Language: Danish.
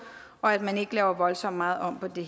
og at man ikke laver voldsomt meget om på det